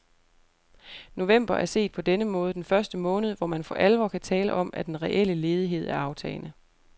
November er set på denne måde den første måned, hvor man for alvor kan tale om, at den reelle ledighed er aftagende.